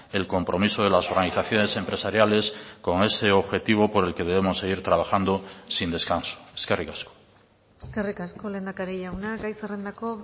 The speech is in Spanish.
el compromiso de las organizaciones empresariales con ese objetivo por el que debemos seguir trabajando sin descanso eskerrik asko eskerrik asko lehendakari jauna gai zerrendako